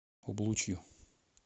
облучью